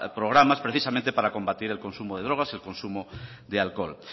programas precisamente para combatir el consumo de drogas y el consumo de alcohol